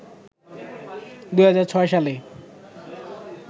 ২০০৬ সালে